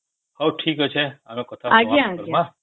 ହଉ ଠିକ ଅଛେ ଆମେ କଥା ଆଉ ଥରେ ହେବ